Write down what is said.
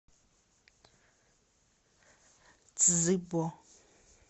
цзыбо